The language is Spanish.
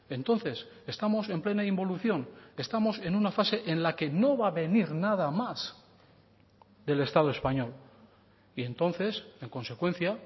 entonces estamos en plena involución estamos en una fase en la que no va a venir nada más del estado español y entonces en consecuencia